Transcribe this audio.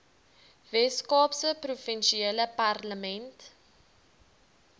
weskaapse provinsiale parlement